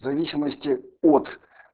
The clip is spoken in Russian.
в зависимости от